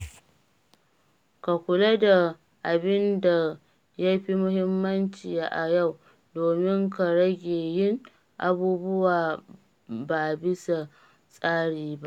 Ka kula da abin da ya fi muhimmanci a yau domin ka rage yin abubuwa ba bisa tsari ba.